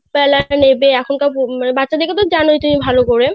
যে half বেলা নেবে বাচ্চাদের তো তুমি জানোই ভালো করে